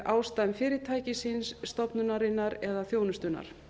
ástæðum fyrirtækisins stofnunarinnar eða þjónustunnar